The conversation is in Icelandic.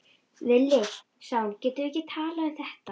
Villi, sagði hún, getum við ekki talað um þetta?